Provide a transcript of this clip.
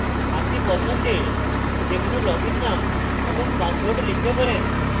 আপনি পছন্দের যে কোনো লগইন name এবং পাসওয়ার্ড লিখতে পারেন